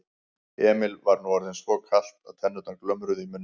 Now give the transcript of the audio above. Emil var nú orðið svo kalt að tennurnar glömruðu í muninum.